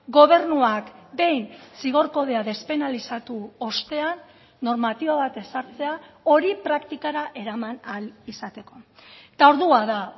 gobernuak behin zigor kodea despenalizatu ostean normatiba bat ezartzea hori praktikara eraman ahal izateko eta ordua da